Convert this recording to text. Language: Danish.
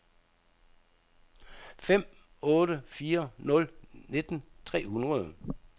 fem otte fire nul nitten tre hundrede